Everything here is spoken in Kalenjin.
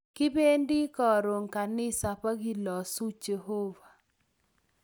Kibendi karon kanisa pkelosu Jehovah